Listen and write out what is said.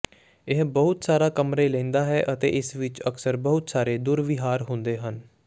ਇਹ ਬਹੁਤ ਸਾਰਾ ਕਮਰੇ ਲੈਂਦਾ ਹੈ ਅਤੇ ਇਸ ਵਿੱਚ ਅਕਸਰ ਬਹੁਤ ਸਾਰੇ ਦੁਰਵਿਹਾਰ ਹੁੰਦੇ ਹਨ